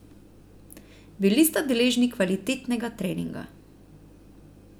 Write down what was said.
Bili sta deležni kvalitetnega treninga.